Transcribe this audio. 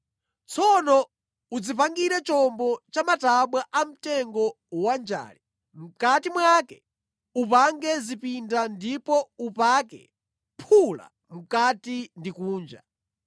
Tsono udzipangire chombo cha matabwa a mtengo wanjale; mʼkati mwake upange zipinda ndipo upake phula mʼkati ndi kunja.